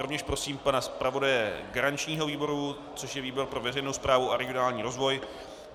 Rovněž prosím pana zpravodaje garančního výboru, což je výbor pro veřejnou správu a regionální rozvoj.